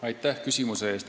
Aitäh küsimuse eest!